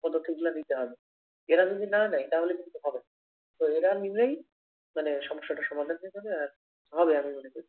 পদক্ষেপগুলা নিতে হবে। এরা যদি না নেয় তাহলে কিন্তু হবেনা। তো এরা নিলেই মানে সমস্যাটার সমাধান হয়ে যাবে আর হবে আমি মনে করি।